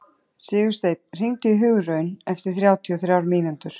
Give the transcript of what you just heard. Sigursteinn, hringdu í Hugraun eftir þrjátíu og þrjár mínútur.